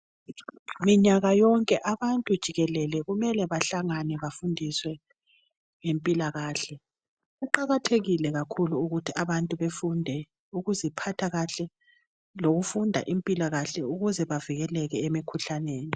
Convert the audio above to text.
Minyaka yonke abantu jikelele kumele bahlangane, bafundiswe ngempilakahle. Kuqakathekile kakhulu ukuthi abantu, befunde ukuziphatha kahle. Lokufunda impilakahle, ukuze bavikeleke emikhuhlaneni.